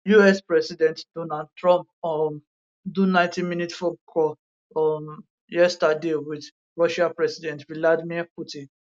us president donald trump um do 90minute phone call um yesterday wit russia president vladimir putin